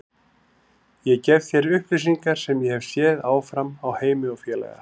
Ég gef þær upplýsingar sem ég hef séð áfram á Heimi og félaga.